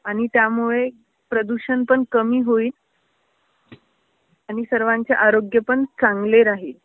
आणि त्यामुळे प्रदूषण पण कमी होईल आणि सर्वांचे आरोग्य पण चांगले राहील.